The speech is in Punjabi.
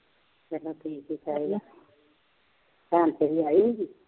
ਚੱਲੋ ਠੀਕ ਹੀ ਚਾਹੀਦਾ, ਭੈਣ ਤੇਰੀ ਆਈ ਹੋਈ ਸੀ